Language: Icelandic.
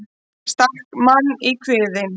Stakk mann í kviðinn